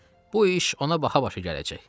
Bu iş ona baha-başa gələcək.